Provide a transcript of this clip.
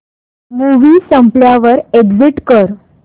movie संपल्यावर exit कर